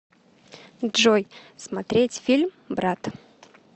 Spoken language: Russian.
джой смотреть фильм брат